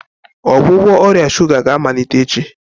Ọgwụgwọ ọrịa shuga ga-amalite echi?